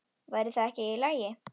Væri það ekki í lagi?